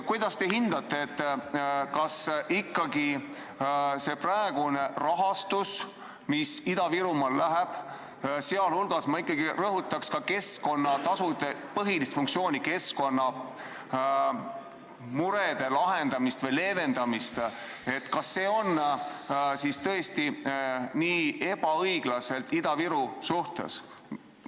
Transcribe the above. Kuidas te hindate, kas see praegune rahastus, mis Ida-Virumaale läheb – ma ikkagi rõhutaks ka keskkonnatasude põhilist funktsiooni, keskkonnamurede lahendamist või leevendamist –, on tõesti nii ebaõiglane Ida-Virumaa suhtes?